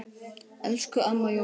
Elsku Amma Jóna.